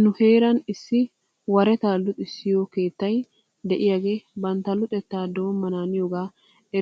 Nu heeran issi waretaa luxissiyoo keettay de'iyaagee bantta luxettaa doommanaaniyoga